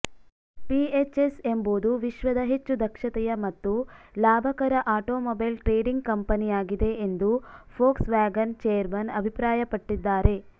PHS ಎಂಬುದು ವಿಶ್ವದ ಹೆಚ್ಚು ದಕ್ಷತೆಯ ಮತ್ತು ಲಾಭಕರ ಆಟೋಮೊಬೈಲ್ ಟ್ರೆಡಿಂಗ್ ಕಂಪನಿಯಾಗಿದೆ ಎಂದು ಫೋಕ್ಸ್ ವ್ಯಾಗನ್ ಚೇರ್ಮನ್ ಅಭಿಪ್ರಾಯಪಟ್ಟಿದ್ದಾರೆ